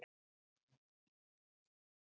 Frábær árangur hjá okkar fólki.